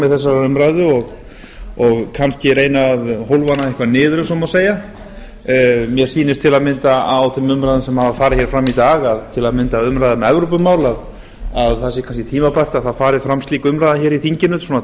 þessarar umræðu og kannski reyna að hólfa hana eitthvað niður ef svo má segja mér sýnist til að mynda á þeim umræðum sem hafa farið hér fram í dag að til að mynda umræða um evrópumál að það sé kannski tímabært að það fari fram slík umræða hér í þinginu